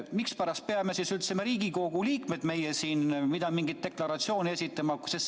Mispärast peame siis üldse meie, Riigikogu liikmed, mingit deklaratsiooni esitama?